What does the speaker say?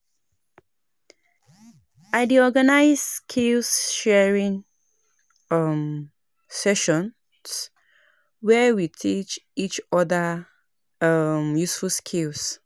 I dey organize skill-sharing um sessions where we teach each other um useful skills.